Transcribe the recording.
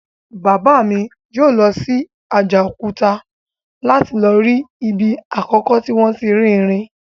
Bàbá mi yóò lọ sí Àjàòkúta láti lọ rí ibi àkọ́kọ́ tí wọ́n ti rí irin